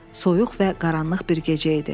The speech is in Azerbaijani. Soyuq və qaranlıq bir gecə idi.